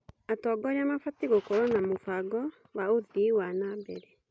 Atongoria mabatiĩ gũkorwo na mũbango wa ũthii wa na mbere.